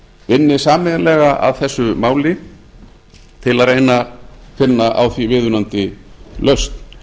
vinni sameiginlega að þessu máli til að reyna að finna á því viðunandi lausn